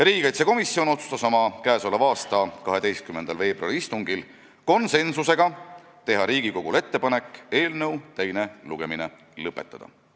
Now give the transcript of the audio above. Riigikaitsekomisjon otsustas oma k.a 12. veebruari istungil teha Riigikogule ettepaneku eelnõu teine lugemine lõpetada.